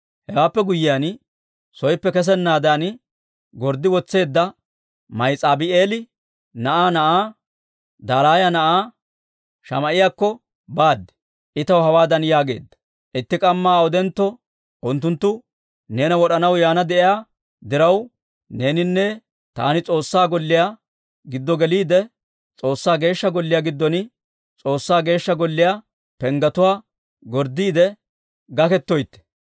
Hewaappe guyyiyaan, sooppe kessennaadan gorddi wotseedda Mahes'aabi'eela na'aa na'aa Dalaaya na'aa Shamaa'iyaakko baad. I taw hawaadan yaageedda; «Itti k'amma awudentto unttunttu neena wod'anaw yaana de'iyaa diraw, neeninne taani S'oossaa Golliyaa giddo geliide, S'oossaa Geeshsha Golliyaa giddon S'oossaa Geeshsha Golliyaa penggetuwaa gorddiidde gaketoytte».